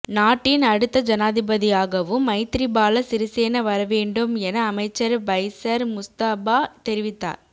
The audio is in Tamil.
நாட்டின் அடுத்த ஜனாதிபதியாகவும் மைத்திரிபால சிறிசேன வரவேண்டும் என அமைச்சர் பைஸர் முஸ்தபா தெரிவித்தார